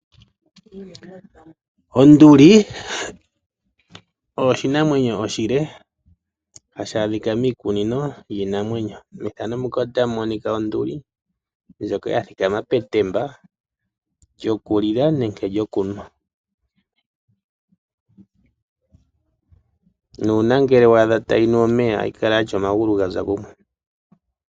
Onduli, oshinamwenyo oshile hashi adhika miikunino, yiinamwenyo, methano muka otamu monika onduli, ndjoka ya thikama petemba lyokulila nenge lyokunwa. Nuuna ngele wa adha tayi nu omeya ohayi kala ya tya omagulu ga za kumwe.